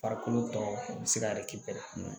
Farikolo tɔw u bɛ se ka